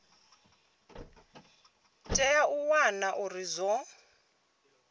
tea u wana uri zwo